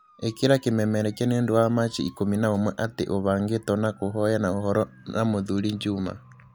Ĩkĩra kĩmemerekia nĩ ũndũ wa machi ikũmi na ũmwe atĩ ũbangĩtwo na kũhoyana ũhoro na mũthuri juma